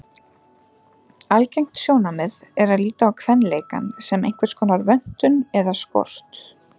Algengt sjónarmið er að líta á kvenleikann sem einhverskonar vöntun eða skort.